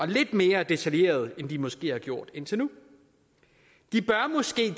lidt mere detaljeret ind de måske har gjort indtil nu de bør måske